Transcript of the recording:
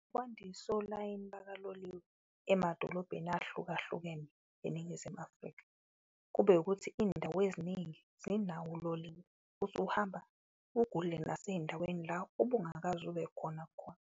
Ukwandisa olayini bakaloliwe emadolobheni ahlukahlukene eNingizimu Afrika, kube ukuthi indawo eziningi zinawo uloliwe, usuhamba ugudle naseyindaweni la obungakaze ube khona khona.